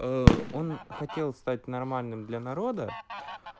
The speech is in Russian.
э он хотел стать нормальным для народа